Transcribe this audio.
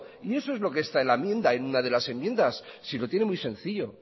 y eso es lo que está en la enmienda en una de las enmiendas si lo tienen muy sencillo